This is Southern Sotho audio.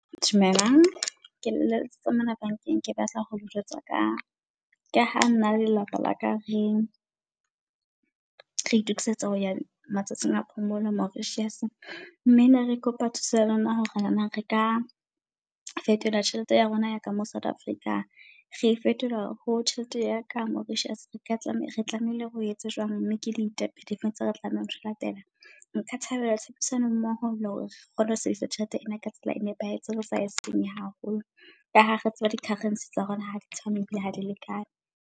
Dumelang ke letsetsa mona bank-eng, ke batla hole jwetsa ka ka ha nna le lelapa la ka re re itokisetsa ho ya matsatsing a phomolo Mauritius. Mme ne re kopa thuso ya lona hore na re ka fetola tjhelete ya rona yaka mo South Africa re fetola ho tjhelete ya ka Mauritius, re ka tlameha re tlamehile re etse jwang. Mme ke ditepe difeng tse re tlameha ho di latela. Nka thabela tshebedisano mmoho le hore re kgone ho sebedisa tjhelete ena ka tsela e nepahetseng. Re sa e senye haholo ka ha re tseba di-currency tsa rona ha di tshwane ebile ha di lekane.